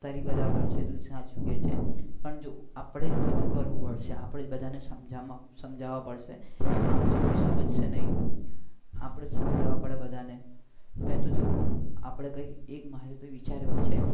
તારી વાત બરાબર છે તું સાચું કે છે પણ જો આપણે જ બધું કરવું પડશે આપણે જ બધા ને સમજવા પડશે નહિ તો કોઈ સમજશે નહિ આપણે જ સમજવા પડે બધા ને નહિ તો જો